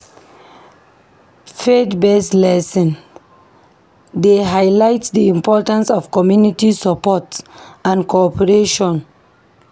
Faith-based lessons dey highlight the importance of community support and cooperation.